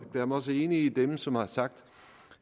også enig med dem som har sagt